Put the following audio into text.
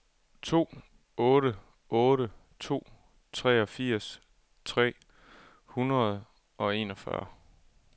to otte otte to treogfirs tre hundrede og enogfyrre